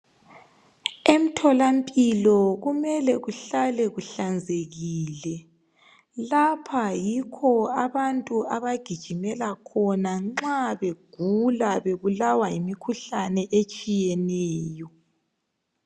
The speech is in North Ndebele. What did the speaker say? Emtholampilo kumele kuhlale kuhlanzekile lapha yikho abantu abagijimela khona nxa begula bebulawa yimikhuhlane etshiyeneyo.